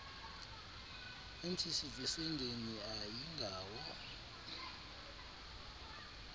ertyis esendeni ayingawo